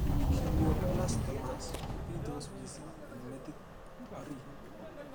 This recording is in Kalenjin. Glioblastomas kopitos mising' eng' metit orit